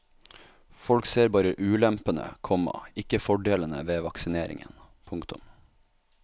Folk ser bare ulempene, komma ikke fordelene ved vaksineringen. punktum